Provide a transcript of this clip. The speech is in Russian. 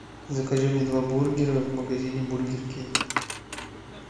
закажи мне два бургера в магазине бургер кинг